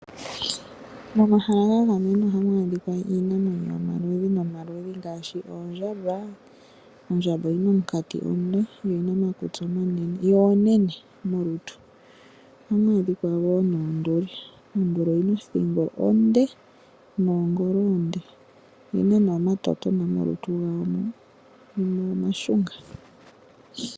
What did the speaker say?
Momahala ga gamenwa ohamu adhika Iinamwenyo yomaluludhi ngaashi oondjamba. Ondjamba oyina omukati omule nomakutsi omanene, yo onenene molutu. Ohamu adhika wo oonduli, Onduli oyina othingo onde nomagulu omale, Oyina omatotona molutu lwayo mwi gamwe omashunga.